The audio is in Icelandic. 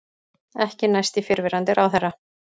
Ekki næst í fyrrverandi ráðherra